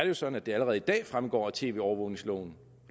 jo sådan at det allerede i dag fremgår af tv overvågnings loven